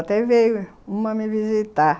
Até veio uma me visitar.